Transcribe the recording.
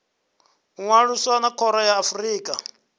ṅwalisa na khoro ya afrika